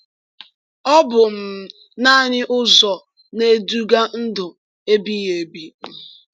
Ọ bụ um naanị ụzọ na-eduga ndụ ebighị ebi. um